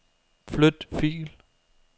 Flyt fil.